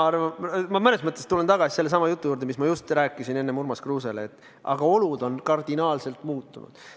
Ma tulen tagasi sellesama jutu juurde, mis ma just rääkisin enne Urmas Kruusele: olud on kardinaalselt muutunud.